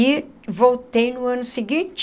E voltei no ano seguinte.